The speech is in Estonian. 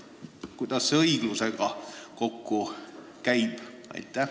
Kuidas see õiglusega kokku käib?